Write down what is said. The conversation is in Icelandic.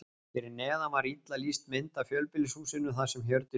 Fyrir neðan var illa lýst mynd af fjölbýlishúsinu þar sem Hjördís bjó.